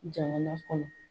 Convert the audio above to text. Jamana kɔnɔ